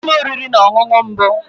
Ị gaala ụlọ oriri na ọṅụṅụ mbụ?